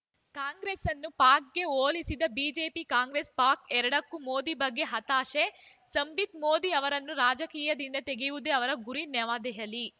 ಕಾಂಗ್ರೆಸ್ಸನ್ನು ಪಾಕ್‌ಗೆ ಹೋಲಿಸಿದ ಬಿಜೆಪಿ ಕಾಂಗ್ರೆಸ್‌ ಪಾಕ್‌ ಎರಡಕ್ಕೂ ಮೋದಿ ಬಗ್ಗೆ ಹತಾಶೆ ಸಂಬಿತ್‌ ಮೋದಿ ಅವರನ್ನು ರಾಜಕೀಯದಿಂದ ತೆಗೆವುದೇ ಅವರ ಗುರಿ ನವದೆಹಲಿ